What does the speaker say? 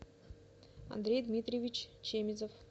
андрей дмитриевич чемезов